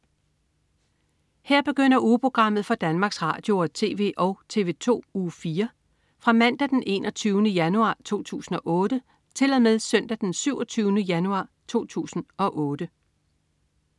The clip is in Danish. Her begynder ugeprogrammet for Danmarks Radio- og TV og TV2 Uge 4 Fra Mandag den 21. januar 2008 Til Søndag den 27. januar 2008